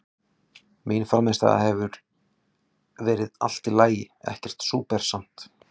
Mín frammistaða hefur verið allt í lagi, ekkert súper samt.